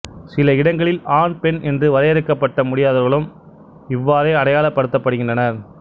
சில இடங்களில் ஆண் பெண் என்று வரையறுக்கப்பட முடியாதவர்களும் இவ்வாறே அடையாளப்படுத்தப்பட்டனர்